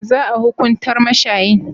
Za a hukuntar mashayin?